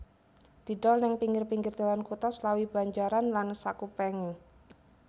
Didol neng pinggir pinggir dalan kutha Slawi Banjaran lan sakupengé